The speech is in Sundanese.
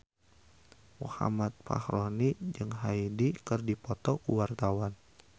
Muhammad Fachroni jeung Hyde keur dipoto ku wartawan